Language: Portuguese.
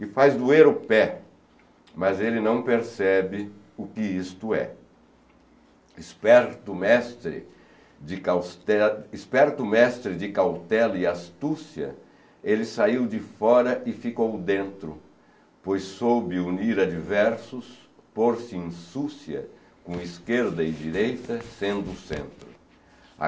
e faz doer o pé, mas ele não percebe o que isto é. Esperto mestre de causte, esperto mestre de cautela e astúcia, ele saiu de fora e ficou dentro, pois soube unir adversos, por se insúcia com esquerda e direita, sendo o centro.